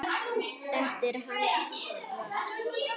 Þetta er hans val.